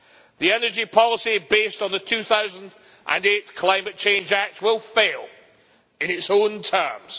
The energy policy based on the 2008 Climate Change Act will fail in its own terms.